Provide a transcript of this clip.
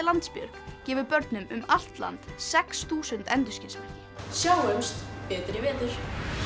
Landsbjörg gefið börnum um allt land sex þúsund endurskinsmerki sjáumst betur í vetur